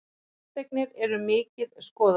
Fasteignir eru mikið skoðaðar